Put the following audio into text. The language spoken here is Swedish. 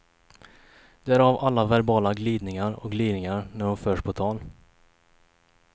Därav alla verbala glidningar och gliringar när hon förs på tal.